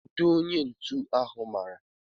Kedụ onye ntu ahụ mara?